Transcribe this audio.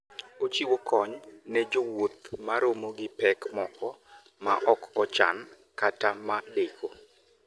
Ochiwo kony ne jowuoth ma romo gi pek moko ma ok ochan kata ma deko.